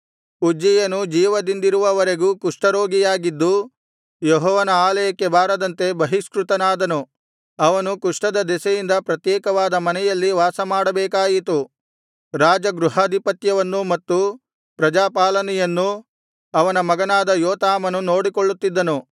ಉಜ್ಜೀಯನು ಜೀವದಿಂದಿರುವ ವರೆಗೂ ಕುಷ್ಠರೋಗಿಯಾಗಿದ್ದು ಯೆಹೋವನ ಆಲಯಕ್ಕೆ ಬಾರದಂತೆ ಬಹಿಷ್ಕೃತನಾದನು ಅವನು ಕುಷ್ಠದ ದೆಸೆಯಿಂದ ಪ್ರತ್ಯೇಕವಾದ ಮನೆಯಲ್ಲಿ ವಾಸಮಾಡಬೇಕಾಯಿತು ರಾಜಗೃಹಾದಿಪತ್ಯವನ್ನೂ ಮತ್ತು ಪ್ರಜಾಪಾಲನೆಯನ್ನೂ ಅವನ ಮಗನಾದ ಯೋತಾಮನು ನೋಡಿಕೊಳ್ಳುತ್ತಿದ್ದನು